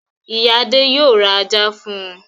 Ìyá Adé yóò ra ajá fún un.